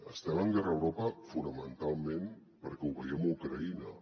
estem en guerra a europa fonamentalment perquè ho veiem a ucraïna